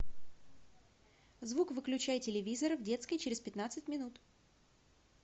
звук выключай телевизора в детской через пятнадцать минут